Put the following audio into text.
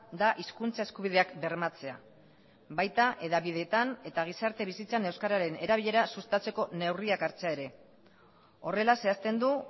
da hizkuntza eskubideak bermatzea baita hedabideetan eta gizarte bizitzan euskararen erabilera sustatzeko neurriak hartzea ere horrela zehazten du